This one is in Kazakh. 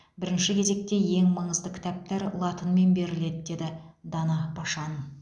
бірінші кезекте ең маңызды кітаптар латынмен беріледі деді дана пашан